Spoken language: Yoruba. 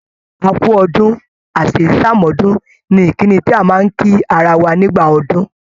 "A kú ọdún, Àṣèyíṣàmọ́dún" ni ìkíni tí a máa ń kí ara wa nígbà ọdún